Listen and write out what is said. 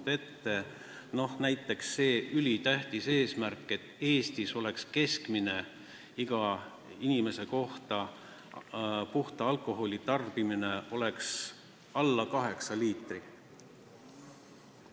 Näiteks on meil see ülitähtis eesmärk, et Eestis oleks keskmine puhta alkoholi tarbimine inimese kohta alla kaheksa liitri.